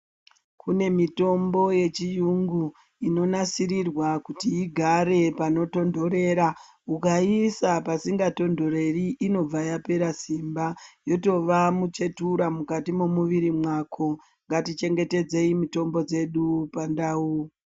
Kune mitombo yechiyungu inonasirirwa kuti igare panotonhorera ukaisa pasingatonhoreri inobva yapera simba yotova muchetura mukati mwemwiri mwako ,ngatichengetedzei mitombo dzedu pandau.